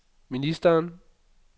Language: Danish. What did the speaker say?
ministeren